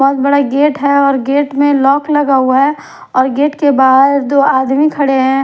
बहुत बड़ा गेट है और गेट में लॉक लगा हुआ है और गेट के बाहर दो आदमी खड़े हैं।